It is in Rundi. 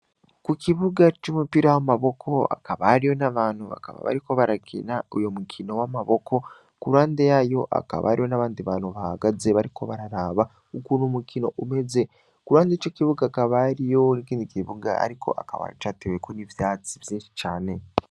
Kukibuga c'umupira w'amaboko hakaba hariho abantu bakaba bariko barakina uwo mukino w'amaboko, k'uruhande yayo hakaba hariho n'abandi bantu bahagaze bariko bararaba ukuntu umukino umeze, k'uruhande y'ico kibuga hakaba hariho ikindi kibuga ariko akaba ar'icateweko n'ivyatsi vyinshi cane.